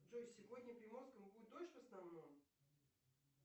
джой сегодня в приморском будет дождь в основном